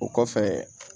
O kɔfɛ